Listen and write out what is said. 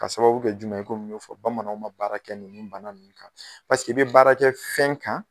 Ka sababu kɛ jumɛn ye komi y'a fɔ Bamananw ma baara kɛ nin banaw kan pasekei bɛ baarakɛ fɛn kan